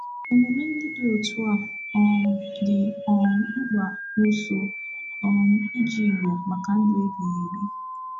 Omume ndị dị otu a um dị um mkpa n’ụsọ um ije Igbo maka ndụ ebighị ebi.